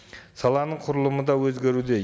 саланың құрылымы да өзгеруде